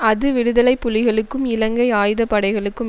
அது விடுதலை புலிகளுக்கும் இலங்கை ஆயுத படைகளுக்கும்